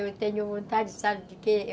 Eu tenho vontade, sabe de quê?